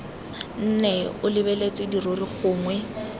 nne o lebeletse dirori gongwe